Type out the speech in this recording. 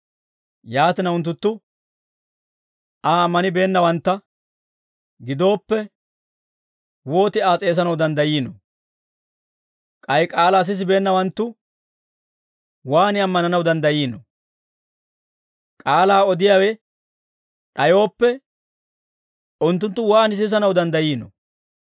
Yaatina, unttunttu Aa ammanibeennawantta gidooppe, wooti Aa s'eesanaw danddayiinoo? K'ay k'aalaa sisibeennawanttu waan ammananaw danddayiinoo? K'aalaa odiyaawe d'ayooppe, unttunttu waan sisanaw danddayiinoo?